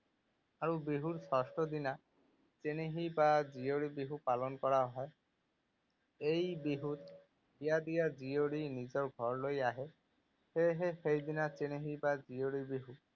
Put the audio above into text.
আৰু বিহুৰ ষষ্ঠ দিনা চেনেহী বা জীয়ৰী বিহু পালন কৰা হয়। এই বিহুত বিয়া দিয়া জীয়ৰী নিজৰ ঘৰলৈ আহে। সেয়েহে সেইদিনা চেনেহী বা জীয়ৰী বিহু।